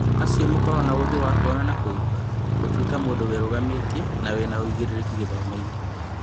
Acio makoragwo na ũthĩ wa kuona na kũigua ) gũtuĩka mũndũ wĩrugamĩtie na wĩna ũigĩrĩrĩki gĩthomo-inĩ ?